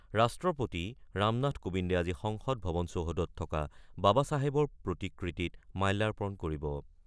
ৰাষ্ট্ৰপতি ৰামনাথ কোবিন্দে আজি সংসদ ভৱন চৌহদত থকা বাবা চাহেবৰ প্ৰতিকৃতিত মাল্যাপণ কৰিব।